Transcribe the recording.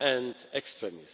and extremism.